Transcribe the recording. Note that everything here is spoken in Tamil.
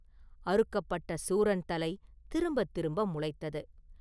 அறுக்கப்பட்ட சூரன் தலை திரும்பத் திரும்ப முளைத்தது.